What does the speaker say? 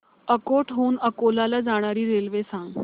अकोट हून अकोला ला जाणारी रेल्वे सांग